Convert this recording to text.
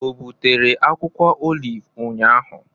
Obutere akwukwo oliv ụnyahụ?